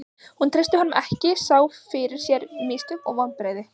Hún treysti honum ekki, sá fyrir sér mistök og vonbrigði.